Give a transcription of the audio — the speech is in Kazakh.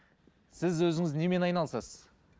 сіз өзіңіз немен айналысасыз